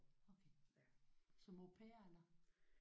Okay som au pair eller?